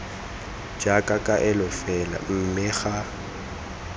jaaka kaelo fela mme ga